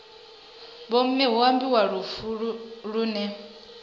vhomme hu ambiwa lufu lune